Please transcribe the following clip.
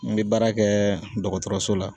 N be baara kɛ dɔgɔtɔrɔso la